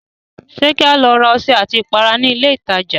Ṣé kí a lọ ra ọṣẹ àti ìpara ní ilé ìtajà?